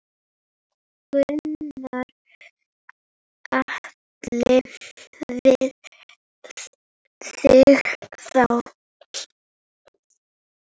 Gunnar Atli: Við þig þá?